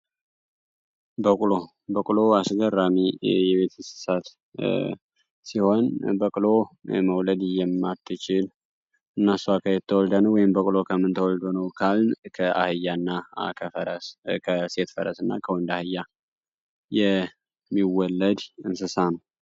በቅሎ በቅሎ አስገርራሚ የቤት እንስሳት ሲሆን በቅሎ መውለድ እየማት ችል እነሷ ካየተወልዳን ወይም በቅሎ ከምንትወልዶነው፡፡ ካልን አህያ ና ከሴት ፈረስ ና ከወንድ አህያ የሚወለድ እንስሳ ነው፡፡